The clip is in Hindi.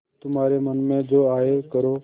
तुम्हारे मन में जो आये करो